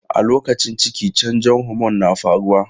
A lokacin ciki, canjon homon na faruwa.